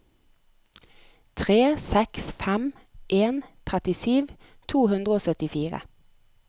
tre seks fem en trettisju to hundre og syttifire